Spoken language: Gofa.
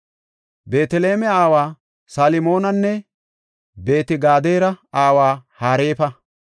Beeteleme aawa Salmonanne Beet-Gadera aawa Hareefa.